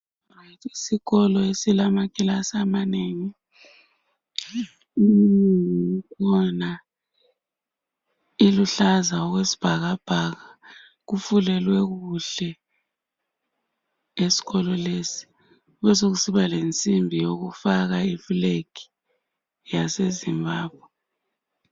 Isikolo esilamakilasi amanengi silombala oluhlaza okwesibhakabhaka kufulelwe kuhle esikolo lesi sekusiba lensimbi eyokufaka iflag Yase Zimbabwe